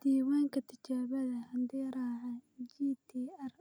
Diiwaanka Tijaabada Hidde-raaca (GTR)